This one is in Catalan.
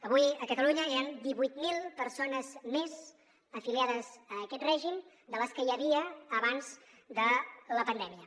avui a catalunya ja hi han divuit mil persones més afiliades a aquest règim de les que hi havia abans de la pandèmia